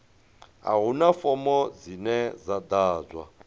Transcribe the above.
a huna fomo dzine dza ḓadzwa